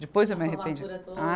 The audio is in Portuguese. Depois eu me arrependi. Ah